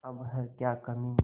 अब है क्या कमीं